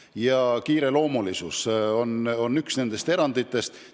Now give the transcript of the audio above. Ja kiireloomulisus on üks, mis neid õigustab.